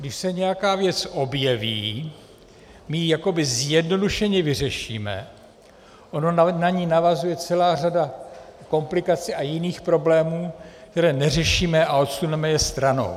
Když se nějaká věc objeví, my ji jakoby zjednodušeně vyřešíme, ona na ni navazuje celá řada komplikací a jiných problémů, které neřešíme, a odsuneme je stranou.